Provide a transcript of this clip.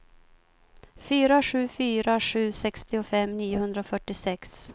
fyra sju fyra sju sextiofem niohundrafyrtiosex